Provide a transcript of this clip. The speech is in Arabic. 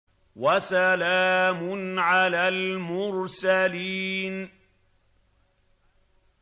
وَسَلَامٌ عَلَى الْمُرْسَلِينَ